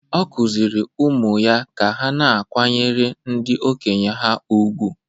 Ọ kụziiri ụmụ ya ka ha na-akwanyere ndị okenye ha ùgwù.